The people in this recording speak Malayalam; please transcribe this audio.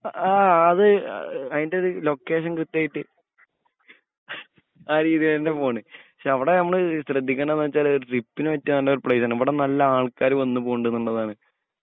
അ അത് അതിന്റെ ത് ലൊക്കേഷൻ കൃത്യയായിട്ട് ആ രീതിലെന്നെ പോണ് പക്ഷെ അവടെ നമ്മൾ ശ്രദ്ധിക്കണ്ടത് വെച്ചാല് ട്രിപ്പിന് പറ്റിഎ പ്ലേസ് ആണ് ഇവ്ടെ നല്ല ആൾക്കാര് വന്ന് പോണ്ട് നുള്ളതാണ്